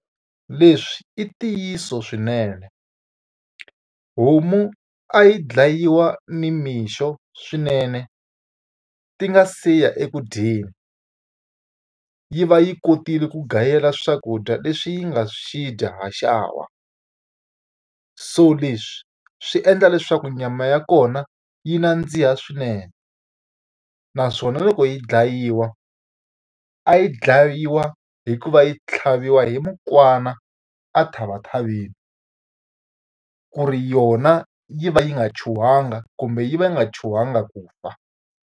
Leswi i ntiyiso swinene, homu a yi dlayiwa nimixo swinene ti nga siya eku dyeni. Yi va yi kotile ku gayela swakudya leswi yi nga swi dya haxawa. So leswi swi endla leswaku nyama ya kona yi nandziha swinene. Naswona loko yi dlayiwa, a yi dlayiwa hi ku va yi tlhaviwa hi mukwana ethavathaveni, ku ri yona yi va yi nga chuhangi kumbe yi va yi nga chuhangi ku fa.